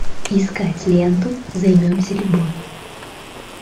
искать ленту займемся любовью